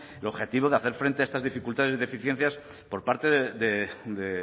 el objetivo de hacer frente a estas dificultades y deficiencias por parte de